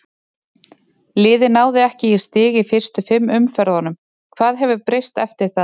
Liðið náði ekki í stig í fyrstu fimm umferðunum, hvað hefur breyst eftir það?